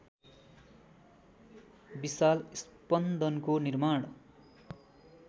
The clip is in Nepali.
विशाल स्पन्दनको निर्माण